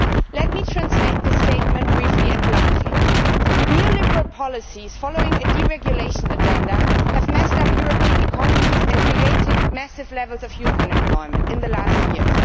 Let me translate this statement briefly and bluntly. Neo liberal policies, following a deregulation agenda, have messed up European economies and created massive levels of youth unemployment in recent years.